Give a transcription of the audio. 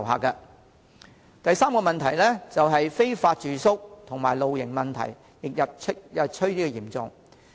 第三，非法住宿和露營問題日趨嚴重。